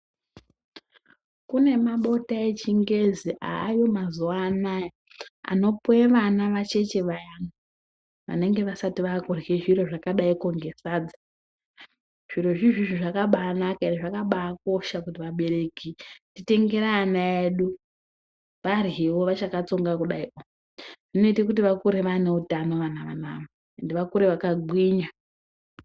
Kune mabota echingezi aayo mazuwanaya anopuwe vana vacheche vayani vanenge vasati vakurya zviro zvakadai ngesadza. Zvirozvi izvizvi zvakabanaka ende zvakabakosha kuti vabereki titengere vana vedu varyewo vachakatsonga kudai. Zvinoita kuti vakire vane utano ende vakure vakagwinya.